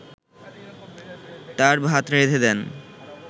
তার ভাত রেঁধে দেন